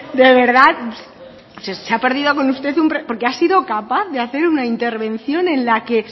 de verdad se ha perdido con usted porque ha sido capaz de hacer una intervención en la que